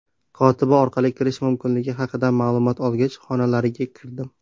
Kotiba orqali kirish mumkinligi haqida ma’lumot olgach, xonalariga kirdim.